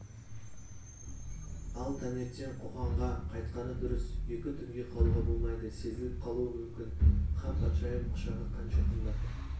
ал таңертең қоқанға қайтқаны дұрыс екі түнге қалуға болмайды сезіліп қалуы мүмкін хан патшайым құшағы қанша қымбат